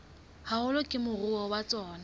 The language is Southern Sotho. haholo ke moruo wa tsona